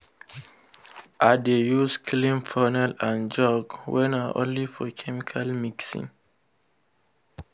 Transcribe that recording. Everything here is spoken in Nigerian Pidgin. i dey use clean funnel and jug wey na only for chemical mixing.